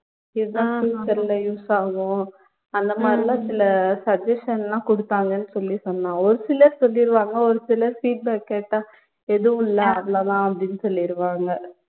இதான் future ல use ஆகும் அந்த மாதிரியெல்லாம் சில suggestion லாம் குடுத்தாங்கன்னு சொல்லி சொன்னா ஒரு சிலர் சொல்லிருவாங்க ஒரு சிலர் feedback கேட்டா எதுவும் இல்ல அவ்வளவு தான் அப்படின்னு சொல்லிருவாங்க